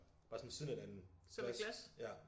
Bare sådan ved siden af hinanden glas ja